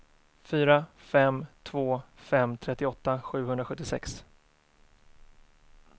fyra fem två fem trettioåtta sjuhundrasjuttiosex